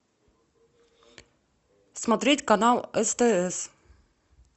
смотреть канал стс